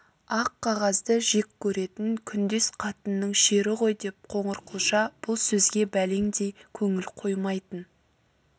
аққағазды жек көретін күндес қатынның шері ғой деп қоңырқұлжа бұл сөзге бәлендей көңіл қоймайтын